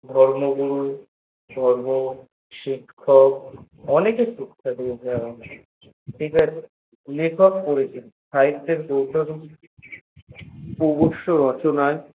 আমাদের ধর্মগুরু আমাদের শিক্ষক অনেক কিছু আছে লেখক করেছেন অনেক কিছু আছে সাহিত্যের প্রবাস রচনায়